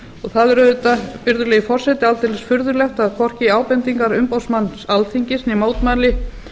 það er auðvitað virðulegi forseti aldeilis furðulegt að hvorki ábendingar umboðsmanns alþingis né mótmæli